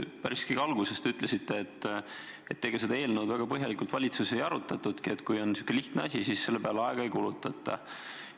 Päris kõige alguses te ütlesite, et ega seda eelnõu väga põhjalikult valitsuses ei arutatudki, kui on lihtne asi, siis selle peale aega ei kulutata.